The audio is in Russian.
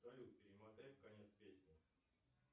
салют перемотай в конец песни